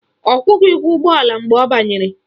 Ọ kwụghị ụgwọ ụgbọala mgbe ọ banyere